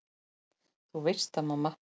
Þú veist það, mamma.